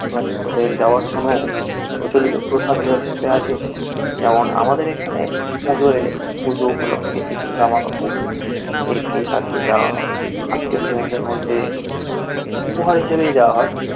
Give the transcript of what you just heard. বাচ্চাদের দেওয়ার কোনো প্রচলিত প্রথা তোদের মধ্যে আছে? যেমন আমাদের এখানে পুজো এলে পুজো উপলক্ষে কিছু জামা কাপড় একে তাকে দেওয়া হয় আত্মীয় স্বজনদের মধ্যে উপহার হিসাবেই দেওয়া হয়